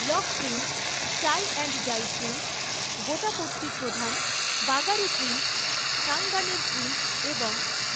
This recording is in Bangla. block print, tie and dye print, gotapatti প্রধান, বাগারু প্রিন্ট, সাঙ্গানের প্রিন্ট এবং